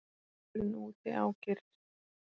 Vindurinn úti ágerist.